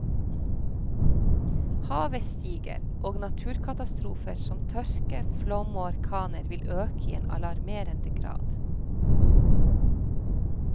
Havet stiger, og naturkatastrofer som tørke, flom og orkaner vil øke i en alarmerende grad.